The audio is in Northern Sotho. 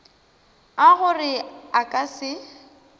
a gore a ka se